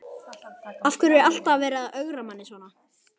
Af hverju er alltaf verið að ögra manni svona?